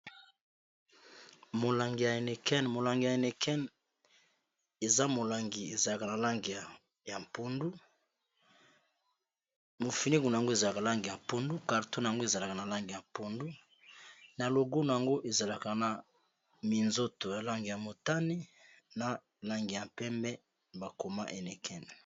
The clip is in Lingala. Molangi ya nn molangi ya nicen ezamolnnyampnu mofiningu na yango ezalaka lange ya mpundu carton yngo ezalaka na lange ya mpondu, na loguna yango ezalaka na minzoto ya langi ya motani, na langi ya mpempe bakoma enecen.